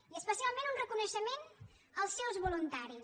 i especialment un reconeixement als seus voluntaris